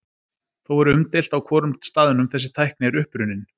Þó er umdeilt á hvorum staðnum þessi tækni er upprunnin.